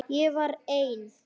Ég var ein.